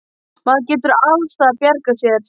Maður getur alls staðar bjargað sér.